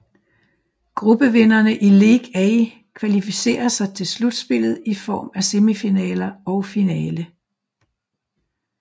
Gruppevinderne i League A kvalificerer sig til slutspillet i form af semifinaler og finale